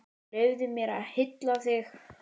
Leyfðu mér að hylla þig.